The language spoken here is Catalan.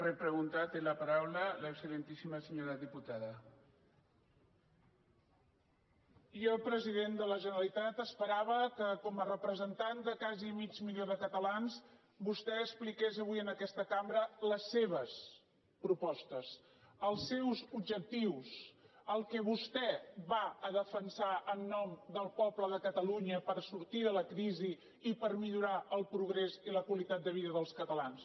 jo president de la generalitat esperava que com a representant de quasi mig milió de catalans vostè expliqués avui en aquesta cambra les seves propostes els seus objectius el que vostè va a defensar en nom del poble de catalunya per sortir de la crisi i per millorar el progrés i la qualitat de vida dels catalans